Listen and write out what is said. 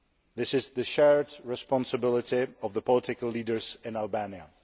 This is the shared responsibility of the political leaders in Albania.